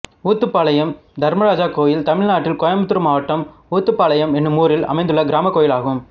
ஊத்துபாளையம் தர்மராஜா கோயில் தமிழ்நாட்டில் கோயம்புத்தூர் மாவட்டம் ஊத்துபாளையம் என்னும் ஊரில் அமைந்துள்ள கிராமக் கோயிலாகும்